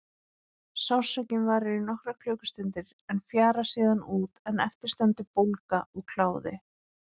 Sársaukinn varir í nokkrar klukkustundir en fjarar síðan út en eftir stendur bólga og kláði.